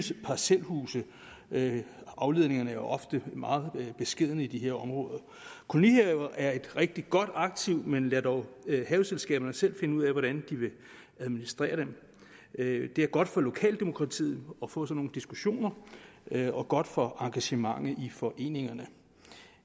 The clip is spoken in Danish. parcelhuse afledningerne er jo ofte meget beskedne i de her områder kolonihaver er et rigtig godt aktiv men lad dog haveselskaberne selv finde ud af hvordan de vil administrere dem det er godt for lokaldemokratiet at få sådan nogle diskussioner og godt for engagementet i foreningerne